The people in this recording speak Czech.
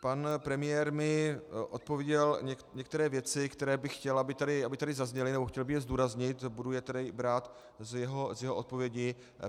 Pan premiér mi odpověděl některé věci, které bych chtěl, aby tady zazněly, nebo chtěl bych je zdůraznit, budu je tedy brát z jeho odpovědi.